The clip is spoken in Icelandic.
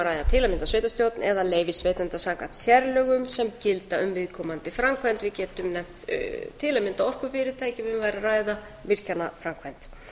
að ræða til að mynda sveitarstjórn eða leyfisveitanda samkvæmt sérlögum sem gilda um viðkomandi framkvæmd við getum nefnt til að mynda orkufyrirtæki ef um væri að ræða virkjunarframkvæmd